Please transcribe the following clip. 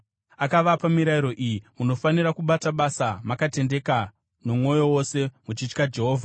Akavapa mirayiro iyi: “Munofanira kubata basa makatendeka nomwoyo wose muchitya Jehovha.